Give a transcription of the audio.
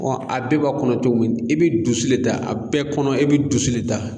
Ɔ a bɛɛ b'a kɔnɔ cogo min i bɛ dusu le da a bɛɛ kɔnɔ e bɛ dusu le da